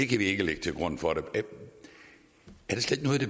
kan vi ikke lægge til grund for det er